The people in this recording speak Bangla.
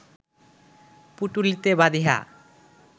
পুটুঁলিতে বাঁধিয়া